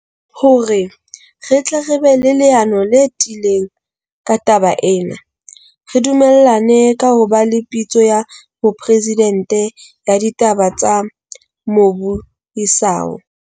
Hore re tle re be le leano le tiileng ka taba ena, re du mellane ka ho ba le Pitso ya Mopresidente ya Ditaba tsa Mobu isao.